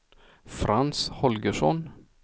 Frans Holgersson